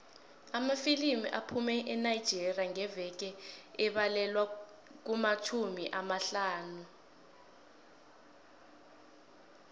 amafilimu aphuma enigeria ngeveke abalelwa kumatjhumi amahlanu